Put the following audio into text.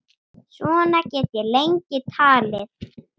Svona get ég lengi talið.